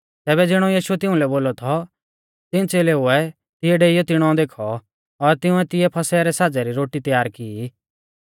तैबै ज़िणौ यीशुऐ तिउंलै बोलौ थौ तिऊं च़ेलेउऐ तिऐ डेईयौ तिणौ देखौ और तिंउऐ तिऐ फसह रै साज़ै री रोटी तैयार की